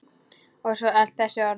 Og svo öll þessi orð.